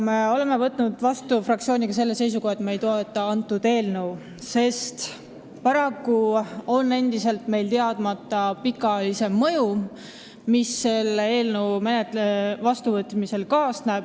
Me oleme fraktsiooniga võtnud seisukoha, et me ei toeta seda eelnõu, sest paraku on endiselt teadmata pikaajalisem mõju, mis selle seaduse vastuvõtmisega kaasneb.